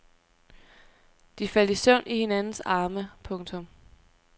De faldt i søvn i hinandens arme. punktum